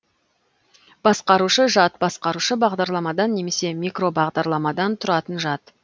басқарушы жад басқарушы бағдарламадан немесе микробағдарламадан тұратын жад